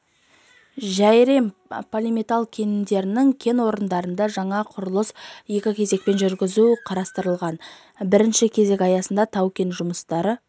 жәйрем полиметалл кендерінің кен орындарында жаңа құрылысын екі кезекпен жүргізу қарастырылған бірінші кезек аясында тау-кен жұмыстары